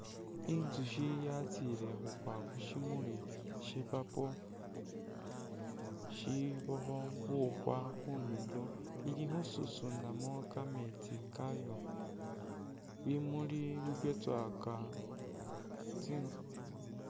Inzushi yatsile khukwa khushimuli she'purple shibakho bukhwa khundulo ili khususunamo kameetsi kayo bimuli bibyetsowaka